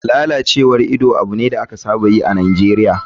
Lalacewar ido abu ne da aka saba yi a nigeria.